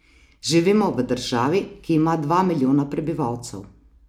Živimo v državi, ki ima dva milijona prebivalcev.